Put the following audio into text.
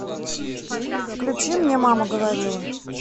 включи мне мама говорила